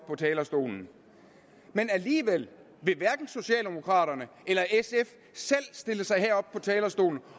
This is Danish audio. på talerstolen men alligevel vil hverken socialdemokraterne eller sf selv stille sig herop på talerstolen